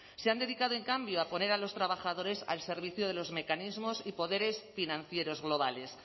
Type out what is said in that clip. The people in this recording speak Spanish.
se han dedicado en cambio a poner a los trabajadores al servicio de los mecanismos y poderes financieros globales